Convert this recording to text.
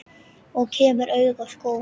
Og kemur auga á skó.